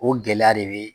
O gɛlɛya de be